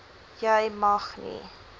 jy mag nie